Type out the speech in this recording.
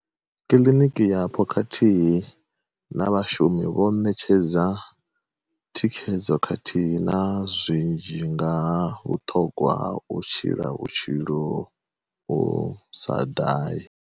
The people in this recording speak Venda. Kiḽiniki yapo khathihi na vhashumi vho nṋetshedza thikhedzo khathihi na zwi nzhi nga ha vhuṱhogwa ha u tshila vhutshilo u sa dahi.